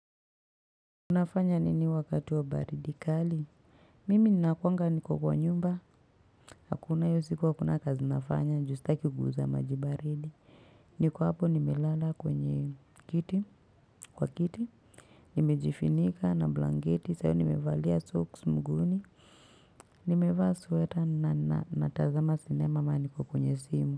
Unafanya nini wakati wa baridi kali mimi nina kuwanga niko kwa nyumba hakuna hiyo siku hakuna kuna kazi nafanya juu stakiguza majibaridi niko hapo nimelala kwenye kiti kwa kiti nimejifunika na blanketi saa hiyyo nimevalia socks mguuni nimevaa sweater na natazama sinema maana niko kwenye simu.